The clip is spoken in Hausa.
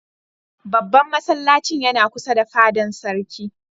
Babban masallacin yana kusa da fadan Sarkin.